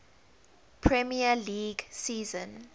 premier league season